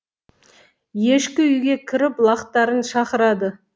ешкі үйге кіріп лақтарын шақырады